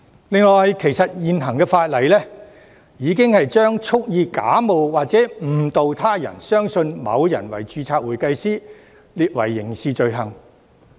此外，現行法例已將蓄意假冒或誤導他人相信某人為註冊會計師列為刑事罪行。